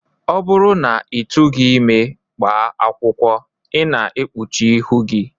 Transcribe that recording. Ọ bụrụ na ị tụrụghị ime gbaa akwụkwọ, I na-ekpuchi ihu gị